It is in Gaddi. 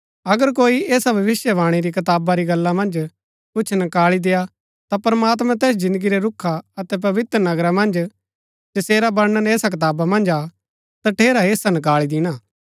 अगर कोई ऐसा भविष्‍यवाणी री कताबा री गल्ला मन्ज कुछ नकाळी देय्आ ता प्रमात्मां तैस जिन्दगी रै रूखा अतै पवित्र नगरा मन्ज जैसेरा वर्णन ऐसा कताबा मन्ज हा तठेरा हेस्सा नकाळी दिणा